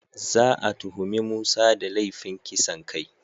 Za a tuhumi Musa da laifin kisan kai.